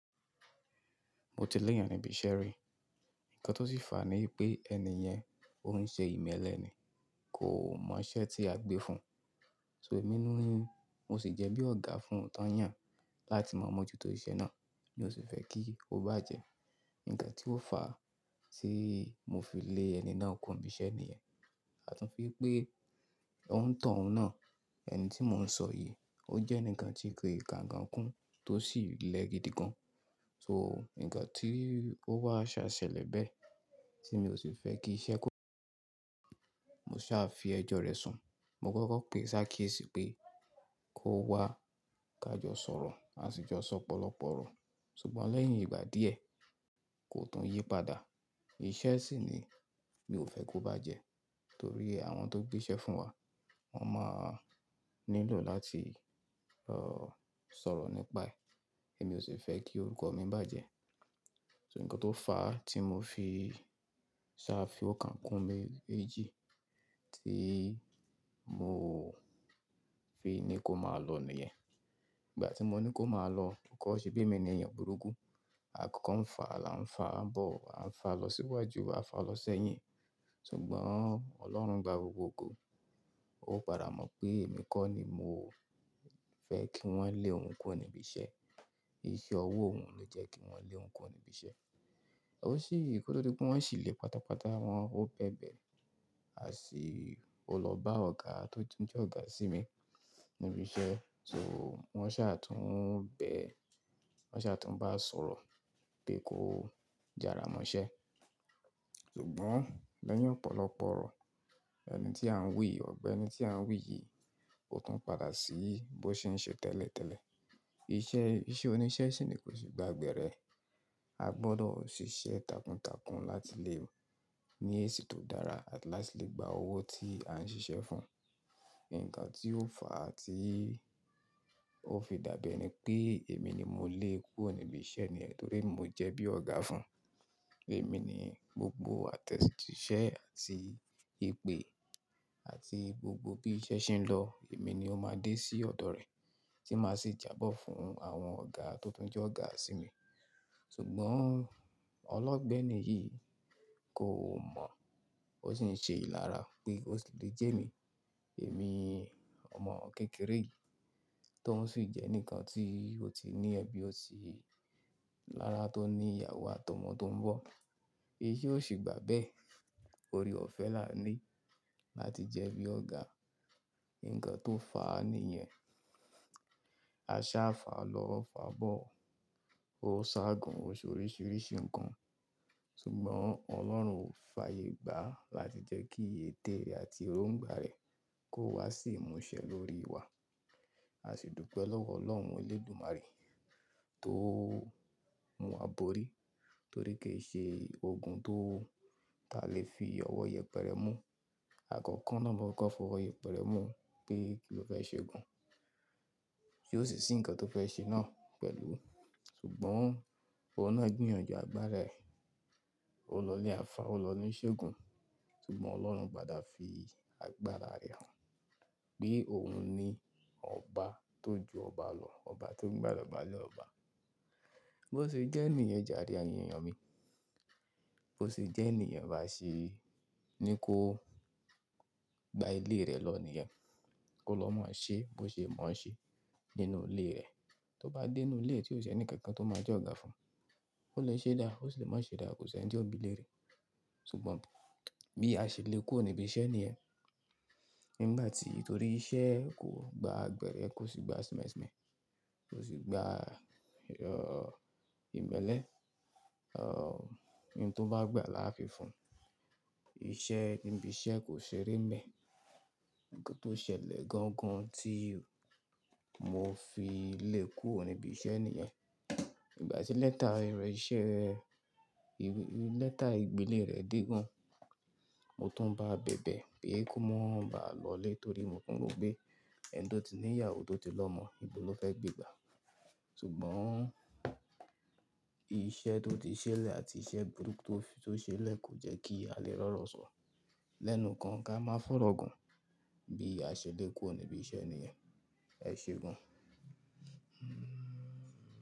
Mo ti lé èèyàn níbi iṣẹ́ rí. Ǹkan tó sì fà ní pé ẹni yẹn, òun ń ṣe ìmẹ́lẹ́ ni, kò mọ iṣẹ́ tí a gbé fún. So èmi ni, mo sì jẹ́ bí ọ̀gá fún tọ̀yan, láti mọ̀ mọ́ jù tó iṣẹ́ náà, mi ó sì fẹ́ kí ó bá jẹ́. Ǹkan tí ó fà tí mo fi lé ẹni náà kúro níbi iṣẹ́ níyẹn, àtún fi pé ò ontàn ún náà. Ẹni tí mò ń sọ yìí, ó jẹ́ enikan tí kin ka nkan kún tó sì le gidi gan. So ǹkan tí ó wá ṣá ṣẹlẹ̀ bẹ́ẹ̀ tí mi ò sì fẹ́ kí iṣẹ́ kó mo sá fi ẹjọ́ rẹ̀ sùn. Mo kọ́kọ́ pé si akiesi pé kó wá ká jọ sọ̀rọ̀, a sì jọ sọ opọ̀lọpọ̀ ọ̀rọ̀. Ṣùgbọ́n lẹ́yìn ìgbà díẹ̀, kò tún yí padà. Ìṣe sì ni mi ò fẹ́ kó bá jẹ́, torí àwọn tó gbé iṣẹ́ fún wa, wọ́n máa nílò láti uh, sọ̀rọ̀ nípa ẹ̀. Èmi ò sì fẹ́ kí orúkọ mi bá jẹ́. So ǹkan tó fà á tí mo fi sá fi óokan kú mèjì tí mo fi ní kó máa lọ nìyẹn. Ìgbà tí mo ní kó máa lọ, ò kọ́ ṣe bi emi ni èèyàn burúkú. A kọ́kọ́ ń fà á, là ń fà á bọ̀, à ń fà á lọ síwájú, à ń fà á lọ sẹ́yìn. Ṣùgbọ́n Ọlọ́run gba gbogbo ògo Ó padà mọ̀ pé èmi kọ́ ni mo fẹ́ kí wọ́n lé òun kúro òníbi iṣẹ́. Iṣẹ́ ọwọ́ òun ló jẹ́ kí wọn lé o òun kú níbi iṣẹ́. Ò sí, koto dí pé wọ́n sì le pátápátá wọn, ó bẹ̀bẹ̀, à sì ó lọ bá ọ̀gá tó ti jẹ́ ọ̀gá sí mi níbi iṣẹ́. So wọ́n sá tún bẹ̀, wọ́n sá tún bá sọ̀rọ̀ pé kó jára mọ iṣẹ́. Ṣùgbọ́n lẹ́yìn ọ̀pọ̀lọpọ̀ ọ̀rọ̀, ẹni tí à ń wí yii, ọ̀gbẹ́ ẹni tí à ń wí yìí, ko tún padà sí bí ó ṣe ń ṣe tẹ́lẹ̀tẹ́lẹ̀. Iṣẹ́, iṣẹ́ oníṣẹ́ sì ni kò sì gba gbẹ́rẹ́. A gbọdọ̀ ò ṣiṣẹ́ takuntakun láti lè ní èsì tó dára, àti láti lè gba owó tí à ń ṣiṣẹ́ fún. Ǹkan tí ó fà à ti ó fi dàbí ẹni pé èmi ni mo lé e kúro òníbi iṣẹ́ níyẹn torí mo jẹ́ bí ọ̀gá fún. Èmi ni gbogbo attest iṣẹ́ àti ìpè, àti gbogbo bí iṣẹ́ ṣe ń lọ, èmi ni ó máa dé sí ọ̀dọ̀ rẹ̀ tí màá sì jábọ̀ fún àwọn ọ̀gá tó ti jẹ́ ọ̀gá sí mi. Ṣùgbọ́n ọlọ́gbẹ́nì yìí kò mọ̀. Ó sì ń ṣe ìlára pé ó sì lè jẹ́ mi. Èmi ọmọ kékeré yìí tó oun sì jẹ́ enikan tí ó ti ní ẹbí, ó ti lára tó ní ìyàwó àti ọmọ tó ń bọ̀. Èyí ò sì gbà bẹ́ẹ̀ torí ó fẹ́ là ní láti jẹ́ bí ọ̀gá. Ǹkan tó fà á nìyẹn. A sá fà á lọ, fà á bọ̀. Ó sá gun, ó ṣe oríṣìíríṣìí ǹkan. Ṣùgbọ́n Ọlọ́run ò fàyè gbà láti jẹ́ kí ètè rẹ̀ àti erongba rẹ̀ kó wá sì mú iṣẹ́ lórí wa. A sì dùpe lọ́wọ́ Ọlọ́run Elédùmarè tó mú wa borí torí kì í ṣe ogun tó ta lè fi ọwọ́ yẹpẹrẹ mú. Àkọ́kọ́ náà mo kokọ́ fi ọwọ́ yẹpẹrẹ mú pé kí ló fẹ́ ṣe gan. Ti ó sì si ǹkan tó fẹ́ ṣe náà pẹ̀lú. Ṣùgbọ́n òun náà gbìyànjú àgbára rẹ̀. Ó lọ ile alfa, ó lọ ní ìṣègùn. Ṣùgbọ́n Ọlọ́run padà fi àgbára rẹ̀ hàn pé òun ni ọba tó ju ọba lọ, ọba tó ń gbá idọba lé ọba. Bo ṣe jẹ́ niyen jàre, eyin èèyàn mi. Bo ó ṣe je niyen, bi a ṣe ní kó gba ilé rẹ̀ lọ nìyẹn, kó lọ máa ṣe bó ṣe mọ̀ ọ́n ṣe nínú ilé rẹ̀. Tó bá dé inú ilé rẹ̀ tí ò ṣe ní kankan tó máa jẹ́ ọ̀gá fún, ó lè ṣe dáa, ó sì lè má ṣe dáa, kò sì ẹni tí ó bi lérí. Ṣùgbọ́n bí a ṣe le kúro níbi iṣẹ́ nìyẹn nígbà tí torí iṣẹ́ kò gba gbẹ́rẹ́, kò sì gba simẹ́simẹ̀, kò sì gba ìmẹ́lẹ́, rọ ohun tó bá gbà la fi fún. Ìṣe níbi iṣẹ́ kò ṣeré mẹ. Ǹkan tó ṣẹlẹ̀ gangan tí mo fi lé e kúro níbi iṣẹ́ nìyẹn. Ìgbà tí lẹ́tà ere iṣẹ́, ìwé lẹ́tà ìgbélé rẹ̀ dé gan. Mo tún bá a bẹ̀bẹ̀ pé kó má bàá lọlé torí mo tún mọ̀ pé ẹni tó ti ní ìyàwó tó ti lọmọ, ibo ló fẹ́ gbé gbà. Ṣùgbọ́n iṣẹ́ tó ti ṣẹlẹ̀ àti iṣẹ́ burúkú tó ṣe lẹ̀ kò jẹ́ kí a lè rọ̀rọ̀ sọ. Lẹ́nu kan ká máa fọ̀rọ̀ gun. Bí a ṣe le kúro nibi iṣẹ́ nìyẹn, ẹ ṣe gan.